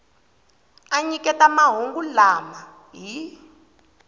a nyiketaka mahungu lama hi